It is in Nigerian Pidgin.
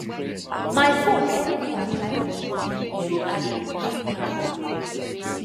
my phone help me apply for loan through agric money app